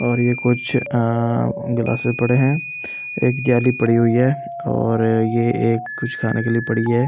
और ये कुछ अ गिलासेस पड़े हैं एक गियाली पड़ी हुई है और ये एक कुछ खाने के लिए पड़ी है।